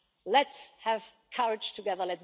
Let's have courage together.